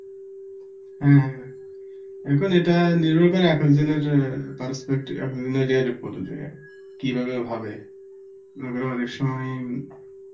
হ্যাঁ, এখন এটা নির্ভর করে এক একজনের prospecti~ ইয়ে এর ওপরে কিভাবে হবে, আবার অনেক সময়